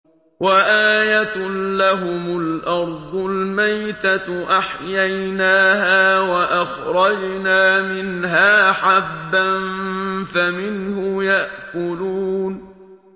وَآيَةٌ لَّهُمُ الْأَرْضُ الْمَيْتَةُ أَحْيَيْنَاهَا وَأَخْرَجْنَا مِنْهَا حَبًّا فَمِنْهُ يَأْكُلُونَ